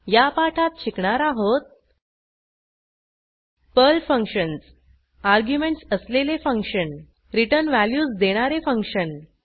या पाठात शिकणार आहोत पर्ल फंक्शन्स अर्ग्युमेंटस असलेले फंक्शन रिटर्न व्हॅल्यूज देणारे फंक्शन